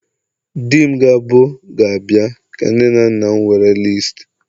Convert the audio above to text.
di m ga-abu ga-abia ka nne na nna m were listi